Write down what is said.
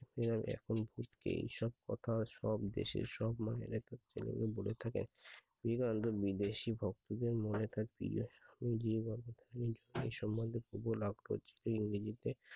আর এখন সেই সব কথা সব দেশের সব মায়েরা তার ছেলে কে বলে থাকেন। এবং বিদেশী ভক্তদের মনে থাকে যে সম্মান সে লাভ করেছে ইংরেজিতে